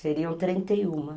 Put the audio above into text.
Seriam trinta e um